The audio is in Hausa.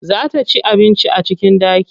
Za ta ci abinci a cikin ɗaki.